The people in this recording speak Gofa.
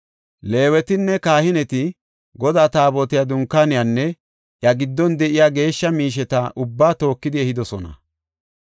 Leewetinne kahineti, Godaa taabotiya, Dunkaaniyanne iya giddon de7iya geeshsha miisheta ubbaa tookidi ehidosona.